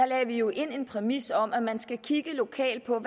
lagde vi jo en præmis ind om at man skal kigge lokalt på